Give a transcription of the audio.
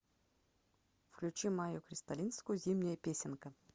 включи майю кристалинскую зимняя песенка